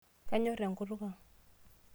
Kanyorr enkutuk ang.